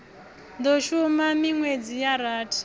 do shuma minwedzi ya rathi